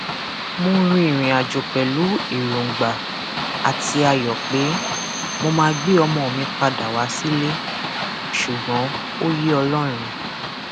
mo rin ìrìnàjò pẹlú èròǹgbà àti ayọ pé mo máa gbé ọmọ mi padà wá sílé ṣùgbọn ó yé ọlọrun